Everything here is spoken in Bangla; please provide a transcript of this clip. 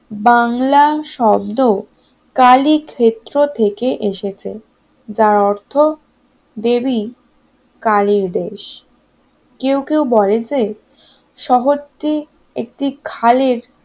বাংলা শব্দ কালী ক্ষেত্র থেকে এসেছে যার অর্থ দেবী কালীর দেশ কেউ কেউ বলেন শহরটি একটি খালের